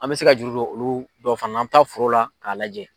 An bɛ se ka juru don olu dɔ fana na, an bɛ taa foro la k'a lajɛ.